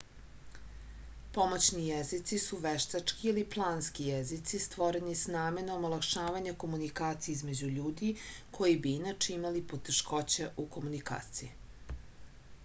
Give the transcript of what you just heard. pomoćni jezici su veštački ili planski jezici stvoreni s namerom olakšavanja komunikacije između ljudi koji bi inače imali poteškoća u komunikaciji